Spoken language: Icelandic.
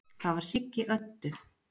Það var Siggi Öddu.